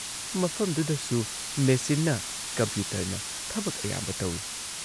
ꯃꯐꯝꯗꯨꯗꯁꯨ ꯃꯦꯆꯤꯟꯅ ꯀꯝꯄ꯭ꯌꯨꯇꯔꯅ ꯊꯕꯛ ꯑꯌꯥꯝꯕ ꯇꯧꯏ ꯫